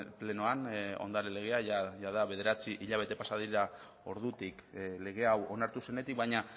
plenoan ondare legea jada bederatzi hilabete pasa dira ordutik lege hau onartu zenetik baina